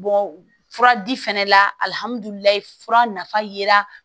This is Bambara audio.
fura di fɛnɛ la alihamudulilayi fura nafa yera